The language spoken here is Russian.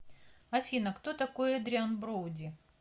афина кто такой эдриан броуди